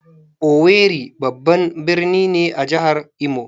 "Owerri" babban birni ne a jihar Imo